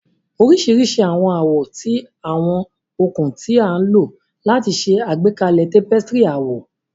oriṣiriṣi awọn awọ ti awọn okun ti a lo lati ṣe agbekalẹ tapestry awọ.